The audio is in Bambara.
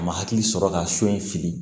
A ma hakili sɔrɔ ka so in fili